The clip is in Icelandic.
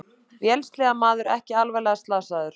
Vélsleðamaður ekki alvarlega slasaður